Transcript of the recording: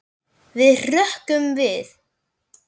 Við hrukkum við.